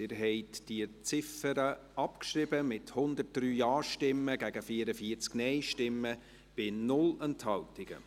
Sie haben diese Ziffer abgeschrieben, mit 103 Ja- zu 44 Nein-Stimmen bei 0 Enthaltungen.